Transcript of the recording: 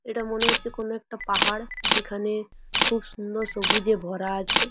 এটা মনে হচ্ছে কোনো একটা পাহাড় যেখানে খুব সুন্দর সবুজে ভরা আছে।